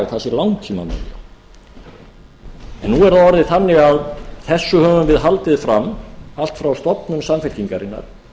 nú er það orðið þannig að þessu höfum við haldið fram allt frá stofnun samfylkingarinnar